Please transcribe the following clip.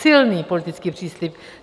Silný politický příslib.